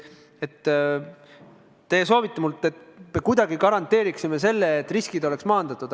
Te soovite minult, et me kuidagi garanteeriksime selle, et riskid oleks maandatud.